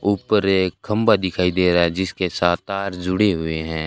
ऊपर एक खंबा दिखाई दे रहा है जिसके साथ तार जुड़े हुए हैं।